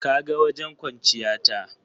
Ka ga wajen kwanciya ta.